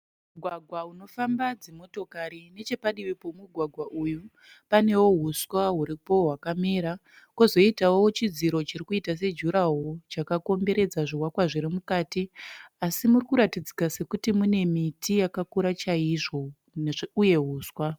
Mugwagwa unofamba dzimotokari. Nechepadivi pemugwagwa uyu panewo hwuswa huripo hwakamera, kwozoitawo chidziro chiri kuta sejurahoo chakakomberedza zvivakwa zviri mukati asi muri kuratidzika sokuti mune miti yakakura chaizvo uye huswa